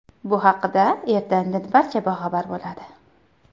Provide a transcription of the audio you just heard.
Bu haqida erta-indin barcha boxabar bo‘ladi.